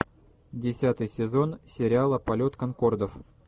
десятый сезон сериала полет конкордов